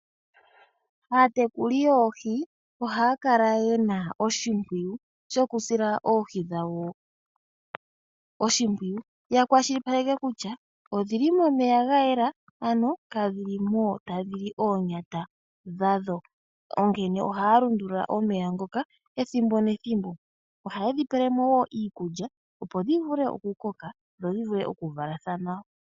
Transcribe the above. Aatekuli yoohi ohaya kala ya sila oohi dhawo oshipwiyu ya kwashilipaleke kutya oshil momeya ga yela kadhi limo tadhi li oonyata dhadho. Onkene ohaya lundulula omeya ethimbo nethimbo, opo dhi vule oku koka dho dhi vule okuvalathana nawa.